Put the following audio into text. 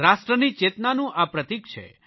રાષ્ટ્રની ચેતનાનું આ પ્રતીક છે